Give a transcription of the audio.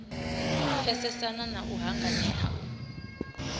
pfesesana na u hanganea u